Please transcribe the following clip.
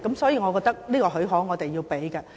所以，我覺得這個許可是應該給予的。